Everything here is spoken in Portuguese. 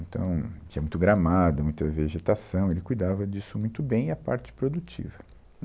Então, tinha muito gramado, muita vegetação, ele cuidava disso muito bem e a parte produtiva.